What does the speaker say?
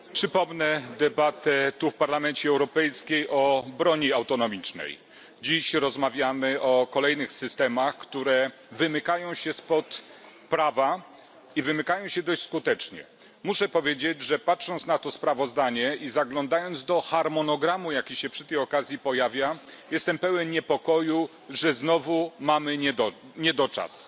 Panie Przewodniczący! Przypomnę debatę tu w Parlamencie Europejskim o broni autonomicznej. Dziś rozmawiamy o kolejnych systemach, które wymykają się spod prawa i wymykają się dość skutecznie. Muszę powiedzieć, że patrząc na to sprawozdanie i zaglądając do harmonogramu, jaki się przy tej okazji pojawia, jestem pełen niepokoju, że znowu mamy brak czasu.